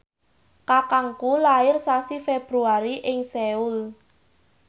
kakangku lair sasi Februari ing Seoul